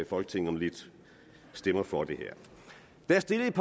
folketinget om lidt stemmer for det her der er stillet